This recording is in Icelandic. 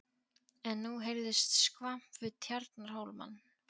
En nú heyrðist skvamp við Tjarnarhólmann.